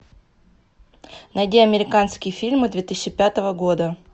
найди американские фильмы две тысячи пятого года